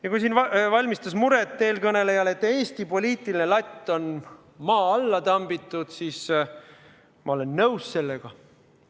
Ja kui siin valmistas eelkõnelejale muret, et Eesti poliitiline latt on maa alla tambitud, siis ma olen nõus sellega.